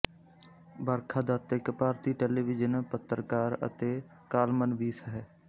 ਬਰਖਾ ਦੱਤ ਇੱਕ ਭਾਰਤੀ ਟੈਲੀਵਿਜ਼ਨ ਪੱਤਰਕਾਰ ਅਤੇ ਕਾਲਮਨਵੀਸ ਹੈ